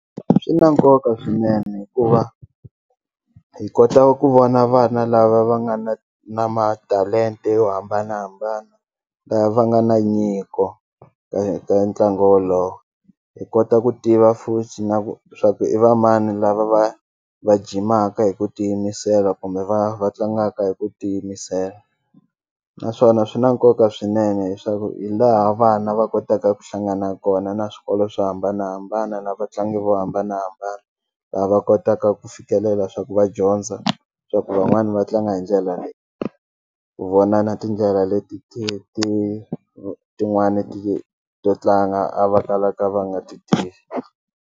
Swi na nkoka swinene hikuva hi kota ku vona vana lava va nga na na matalente yo hambanahambana la va nga na nyiko ka ntlangu wolowo hi kota ku tiva futhi na ku swa ku i va mani lava va va jimaka hi ku ti yimisela kumbe va va tlangaka hi ku ti yimisela naswona swi na nkoka swinene leswaku hi laha vana va kotaka ku hlangana kona na swikolo swo hambanahambana na vatlangi vo hambanahambana la va kotaka ku fikelela swa ku va dyondza swa ku van'wani va tlanga hi ndlela leyi ku vona na tindlela leti ti ti tin'wani to tlanga a va kalaka va nga ti tivi.